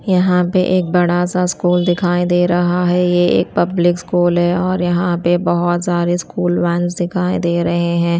यहां पे एक बड़ा सा स्कूल दिखाई दे रहा है। ये एक पब्लिक स्कूल है और यहां पे बहोत सारे स्कूल वेंस दिखाई दे रहे हैं।